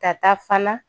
Ka taa fana